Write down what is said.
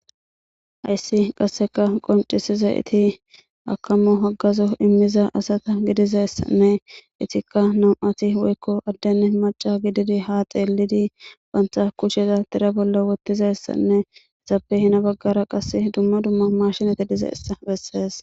Hayssi qasseka qonccisizayti akamo haggazo immiza asata gidizayssane ettika nam'ati addene macca gididi ha xellidi bantta kushshe tira bolla woththidayssanne ezappe heni baggera qasse dumma dumma mashshiney diizaysa besses.